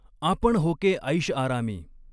आपण होके ऐशआरामी।